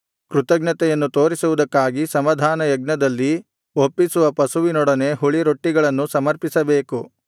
ಕೃತಜ್ಞತೆಯನ್ನು ತೋರಿಸುವುದಕ್ಕಾಗಿ ಸಮಾಧಾನಯಜ್ಞದಲ್ಲಿ ಒಪ್ಪಿಸುವ ಪಶುವಿನೊಡನೆ ಹುಳಿರೊಟ್ಟಿಗಳನ್ನು ಸಮರ್ಪಿಸಬೇಕು